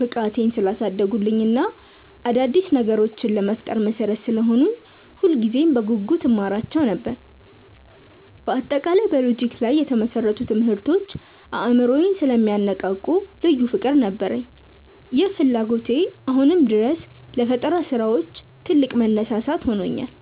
ብቃቴን ስላሳደጉልኝ እና አዳዲስ ነገሮችን ለመፍጠር መሠረት ስለሆኑኝ ሁልጊዜም በጉጉት እማራቸው ነበር። በአጠቃላይ በሎጂክ ላይ የተመሰረቱ ትምህርቶች አእምሮን ስለሚያነቃቁ ልዩ ፍቅር ነበረኝ። ይህ ፍላጎቴ አሁንም ድረስ ለፈጠራ ስራዎች ትልቅ መነሳሳት ሆኖኛል።